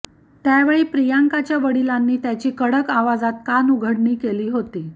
त्यावेळी प्रियंकाच्या वडिलांनी त्याची कडक आवाजात कानउघाडणी केली होती